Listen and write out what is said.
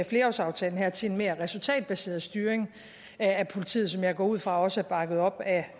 flerårsaftalen her til en mere resultatbaseret styring af politiet som jeg går ud fra også er bakket op af